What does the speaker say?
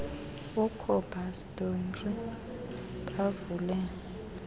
ucobus dowry bavule